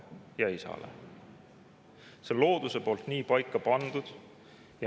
See on looduse poolt nii paika pandud.